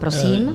Prosím.